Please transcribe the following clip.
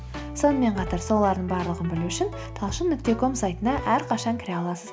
сонымен қатар солардың барлығын білу үшін талшын нүкте ком сайтына әрқашан кіре аласыз